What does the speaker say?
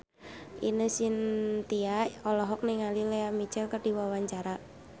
Ine Shintya olohok ningali Lea Michele keur diwawancara